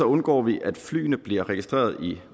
undgår vi at flyene bliver registreret i